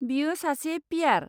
बियो सासे पि.आर.।